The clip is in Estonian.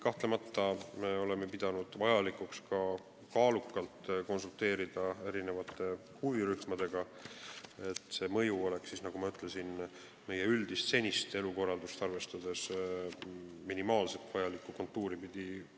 Kahtlemata oleme pidanud vajalikuks kaalukalt konsulteerida huvirühmadega, et see mõju kulgeks, nagu ma ütlesin, meie senist üldist elukorraldust arvestades minimaalselt vajalikku kontuuri pidi.